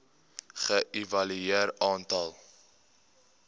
ge evalueer aantal